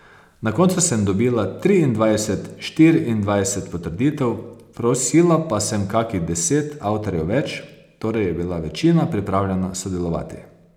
Na koncu sem dobila triindvajset, štiriindvajset potrditev, prosila pa sem kakih deset avtorjev več, torej je bila večina pripravljena sodelovati.